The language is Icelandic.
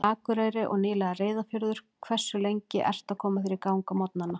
Akureyri og nýlega Reyðarfjörður Hversu lengi ertu að koma þér í gang á morgnanna?